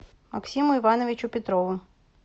максиму ивановичу петрову